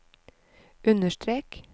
understrek